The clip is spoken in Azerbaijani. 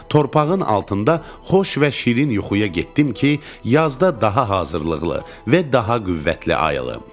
Torpağın altında xoş və şirin yuxuya getdim ki, yazda daha hazırlıqlı və daha qüvvətli ayılım.